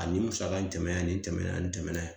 nin musaka in tɛmɛna yan, nin tɛmɛna yan, nin tɛmɛna yan